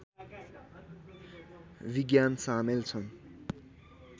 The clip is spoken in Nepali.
विज्ञान सामेल छन्